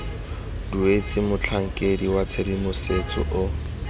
duetswe motlhankedi wa tshedimosetso o